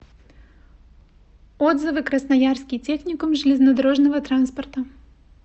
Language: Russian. отзывы красноярский техникум железнодорожного транспорта